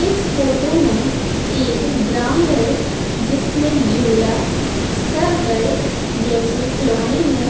इस फोटो में एक ग्राउंड हैं जिसमें झूला सर्कल जैसे खिलोने हैं।